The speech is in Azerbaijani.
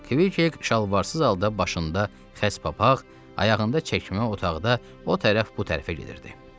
Kvik şalvarsız halda başında xəz papaq, ayağında çəkmə otaqda o tərəf bu tərəfə gedirdi.